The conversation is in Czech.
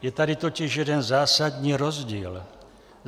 Je tady totiž jeden zásadní rozdíl.